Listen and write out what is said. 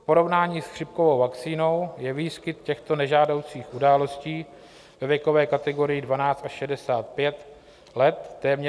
V porovnání s chřipkovou vakcínou je výskyt těchto nežádoucích událostí ve věkové kategorii 12 až 65 let téměř 290krát vyšší.